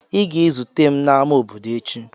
Ị ga-ezute m n'ámá obodo echi!